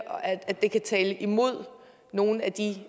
at det kan tale imod nogle af de